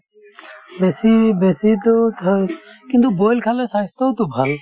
বেছি বেছিতো কিন্তু boil খালে স্ৱাস্থ্যৰতো ভাল